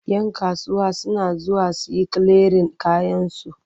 Yan kasuwa suna zuwa su yi kiliyarin kayansu.